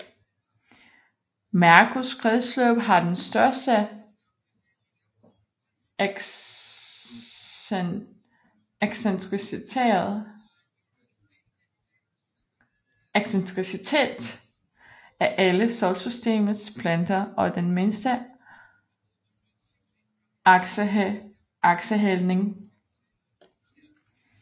Merkurs kredsløb har den største excentricitet af alle Solsystemets planeter og den mindste aksehældning